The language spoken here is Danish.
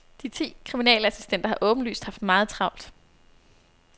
De ti kriminalassistenter har åbenlyst haft meget travlt.